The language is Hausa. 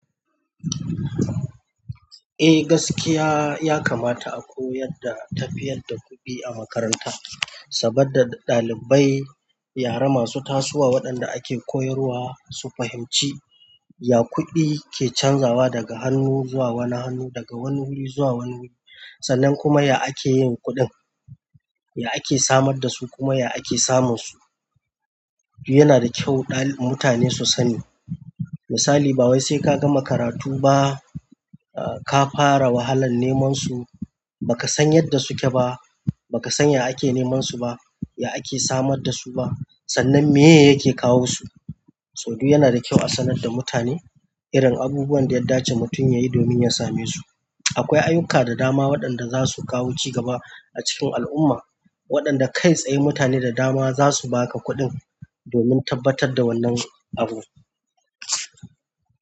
Eh gaskiya ya kamata a koyar da tafiyar da kuɗi a makaranta, saboda ɗalibai yara masu tasowa waɗanda ake koyarwa su fahimci ya kuɗi ke canzawa daga hannu zuwa wani hannu, daga wani wuri zuwa wani wuri. Sannan kuma ya ake yin kuɗin, ya ake samar da su kuma ya ake samun su. Yana da kyau mutane su sani. Misali ba wai sai ka gama karatu ba kafara wahalan neman su bakasan yanda suke ba bakasan ya ake neman su ba ya ake samar da su sannan meye yake kawo su to duk yana da kyau a sanar da mutane irin abubuwan da ya dace mutum yayi domin ya same su. Akwai ayyuka da dama waɗanda za su kawo cigaba a cikin al'umma, waɗanda kai tsaye mutane da dama za su ba ka kuɗin domin tabbatar da wannan abu.